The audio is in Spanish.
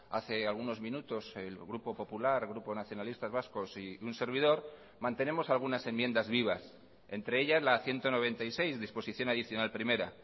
hace algunos minutos el grupo popular el grupo nacionalistas vascos y un servidor mantenemos algunas enmiendas vivas entre ellas la ciento noventa y seis disposición adicional primera